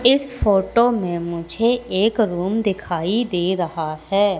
इस फोटो में मुझे एक रूम दिखाई दे रहा है।